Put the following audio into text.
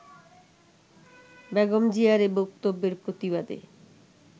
বেগম জিয়ার এ বক্তব্যের প্রতিবাদে